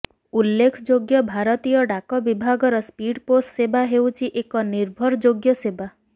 ଉଲ୍ଲେଖଯୋଗ୍ୟ ଭାରତୀୟ ଡାକ ବିଭାଗର ସ୍ପିଡ୍ ପୋଷ୍ଟ ସେବା ହେଉଛି ଏକ ନିର୍ଭରଯୋଗ୍ୟ ସେବା